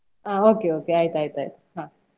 Okay okay ಆಯ್ತ್ ಆಯ್ತ್ ಹಾ.